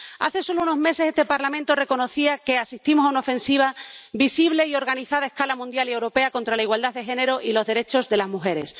Hace solo unos meses este Parlamento reconocía que asistimos a una ofensiva visible y organizada a escala mundial y europea contra la igualdad de género y los derechos de las mujeres.